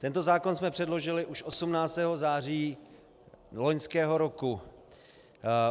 Tento zákon jsme předložili už 18. září loňského roku.